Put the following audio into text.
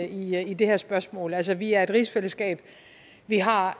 i i det her spørgsmål altså vi er et rigsfællesskab vi har